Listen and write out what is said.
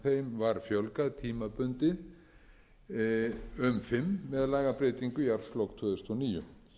var fjölgað tímabundið um fimm með lagabreytingu í árslok tvö þúsund og níu